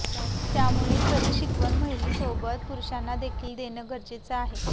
त्यामुळे खरी शिकवण महिलसोबत पुरुषांना देखील देन गरजेच आहे